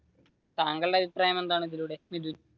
താങ്കളുടെ അഭിപ്രായം എന്താണ് ഇതിലൂടെ